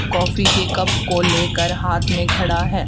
Coffee के cup को लेकर हाथ में खड़ा है।